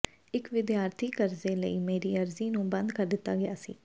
ਇੱਕ ਵਿਦਿਆਰਥੀ ਕਰਜ਼ੇ ਲਈ ਮੇਰੀ ਅਰਜ਼ੀ ਨੂੰ ਬੰਦ ਕਰ ਦਿੱਤਾ ਗਿਆ ਸੀ